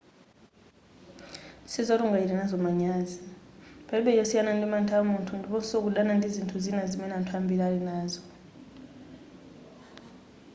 sizoti ungachite nazo manyazi palibe chosiyana ndi mantha amunthu ndiponso kudana ndi zinthu zina zimene anthu ambiri ali nazo